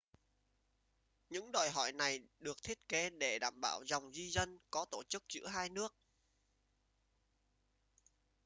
những đòi hỏi này được thiết kế để bảo đảm dòng di dân có tổ chức giữa hai nước